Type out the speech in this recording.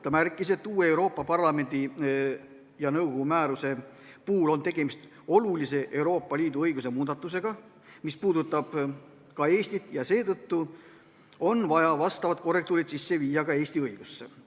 Ta märkis, et uue Euroopa Parlamendi ja nõukogu määruse puhul on tegemist olulise Euroopa Liidu õiguse muudatusega, mis puudutab ka Eestit, seetõttu on vaja vastavad korrektiivid teha ka Eesti õigusesse.